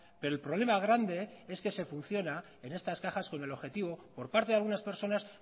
pero el problema grande es que se funciona en estas cajas con el objetivo por parte de algunas personas